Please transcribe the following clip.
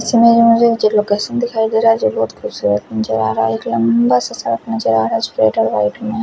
इस इमेज में से जो मुझे लोकेशन दिखाई दे रहा है --